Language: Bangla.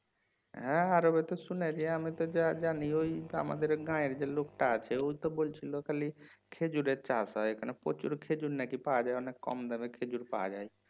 হ্যাঁ আরবে তো শুনেছি আমি তো যা জানি ওই আমাদের গাঁয়ের যে লোকটা আছে ও তো বলছিল খালি খেজুরের চাষ হয় প্রচুর খেজুর নাকি পাওয়া যায় অনেক কম দামে খেজুর পাওয়া যায়